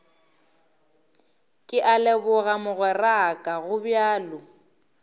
ke a leboga mogweraka gobjalo